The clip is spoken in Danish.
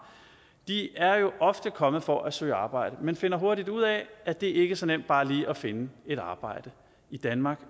ofte er kommet for at søge arbejde men de finder hurtigt ud af at det ikke er så nemt bare lige at finde et arbejde i danmark